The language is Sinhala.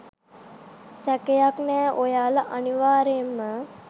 සැකයක් නෑ ඔයාලා අනිවාර්යයෙන්ම